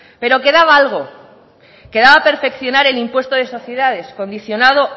pero quedaba algo quedaba perfeccionar el impuesto de sociedades condicionado